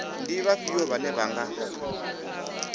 ndi vhafhio vhane vha nga